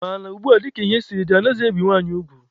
Mana ugbua, dika ihe siri dị, anaghị ebizi nwaanyị ugwu.